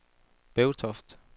Bevtoft